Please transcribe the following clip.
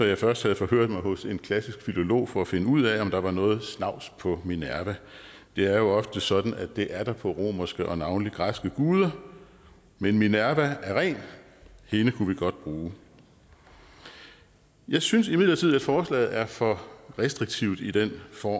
jeg først havde forhørt mig hos en klassisk filolog for at finde ud af om der var noget snavs på minerva det er jo ofte sådan at det er der på romerske og navnlig græske guder men minerva er ren hende kunne vi godt bruge jeg synes imidlertid at forslaget er for restriktivt i den form